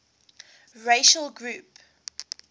racial gap